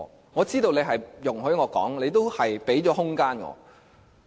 我知道你是容許我說話，亦給予我空間。